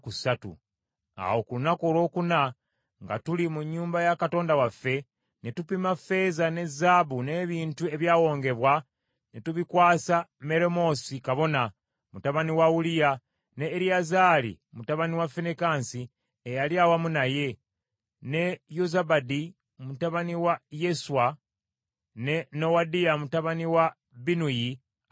Awo ku lunaku olwokuna, nga tuli mu nnyumba ya Katonda waffe, ne tupima ffeeza ne zaabu n’ebintu ebyawongebwa ne tubikwasa Meremoosi kabona, mutabani wa Uliya, ne Eriyazaali mutabani wa Finekaasi eyali awamu naye, ne Yozabadi mutabani wa Yeswa, ne Nowadiya mutabani wa Binnuyi, Abaleevi.